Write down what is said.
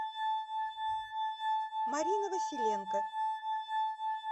марина василенко